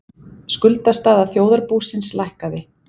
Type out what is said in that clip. Skuldastaða þjóðarbúsins lækkaði